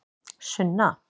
Sunna